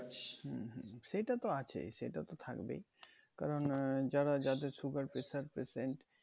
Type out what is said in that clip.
সেইটা তো আছেই সেটা তো থাকবেই কারণ আহ যারা যাদের sugar pressure patient